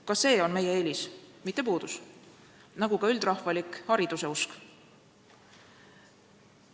Ka see on meie eelis, mitte puudus, nagu ka üldrahvalik hariduseusk.